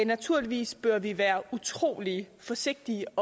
naturligvis bør vi være utrolig forsigtige